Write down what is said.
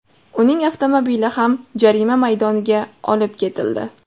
Uning avtomobili ham jarima maydoniga olib ketildi.